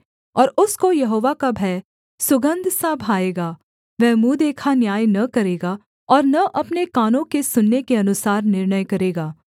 ओर उसको यहोवा का भय सुगन्धसा भाएगा वह मुँह देखा न्याय न करेगा और न अपने कानों के सुनने के अनुसार निर्णय करेगा